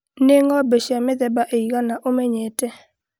nĩ ng'ombe cia mĩthemba ĩigana ũmenyete